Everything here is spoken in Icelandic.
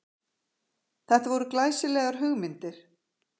Þetta voru glæsilegar hugmyndir